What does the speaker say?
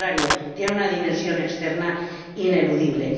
al contrario, tiene una dimensión externa ineludible.